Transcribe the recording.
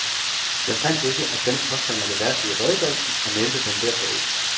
Jeg fandt ikke, at denne påstand er det værste i redegørelsen, og nævnte den derfor ikke.